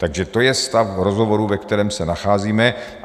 Takže to je stav rozhovorů, ve kterém se nacházíme.